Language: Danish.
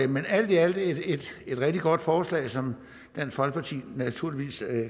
men alt i alt er det et rigtig godt forslag som dansk folkeparti naturligvis